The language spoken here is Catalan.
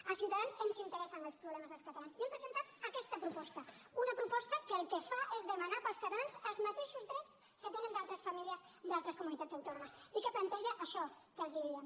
a ciutadans ens interessen els problemes dels catalans i hem presentat aquesta proposta una proposta que el que fa és demanar per als catalans els mateixos drets que tenen altres famílies a d’altres comunitats autònomes i que planteja això que els diem